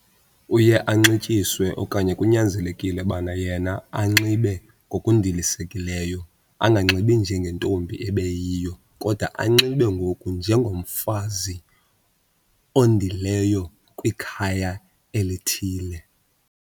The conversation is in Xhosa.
Uye anxityiswe okanye kunyanzelekile ubana yena anxibe ngokundilisekileyo, anganxibi njengentombi ebeyiyo kodwa anxibe ngoku njengomfazi ondileyo kwikhaya elithile.